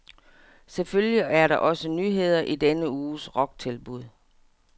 Selvfølgelig er der også nyheder i denne uges rocktilbud.